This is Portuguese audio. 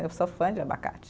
Eu sou fã de abacate.